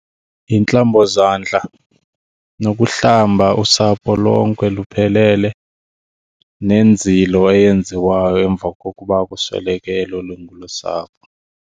Yintlambozandla nokuhlamba usapho lonke luphelele nenzilo eyenziwayo emva kokuba kusweleke elo lungu losapho.